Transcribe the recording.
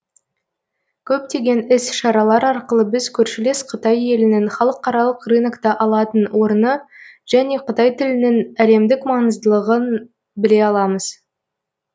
көптеген іс шаралар арқылы біз көршілес қытай елінің халықаралық рынокта алатын орны және қытай тілінің әлемдік маңыздылығын біле аламыз